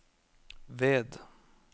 ved